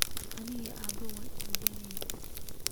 Ani iyo aabe wan isdagalna .